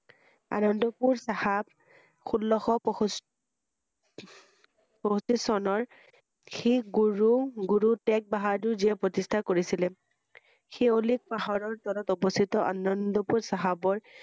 আনন্দপুৰ চাহাব ষোল্ল শ পয়ষ~পয়ষষ্ঠি চনৰ শেষ গুৰু~গুৰু টেগ বাহাদুৰ যিয়ে প্ৰতি্স্ঠা কৰিছিলে ৷সেই অলেস পাহাৰৰ উপৰত অৱস্হিত আনন্দপুৰ চাহাবৰ